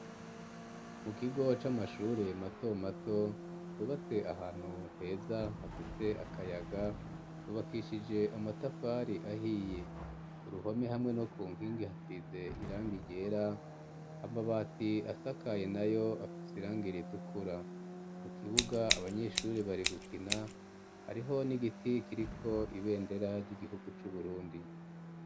Mu kigo c'amashure mato mato cubatse ahantu heza hafise akayaga cubakishije amatafari ahiye ku ruhome hamwe no ku nkingi hasize irangi ryera amabati asakaye na yo afise irangi ritukura mu kibuga abanyeshure bari gukina hariho n'igiti kiriko ibendera ry'igihugu c'uBurundi.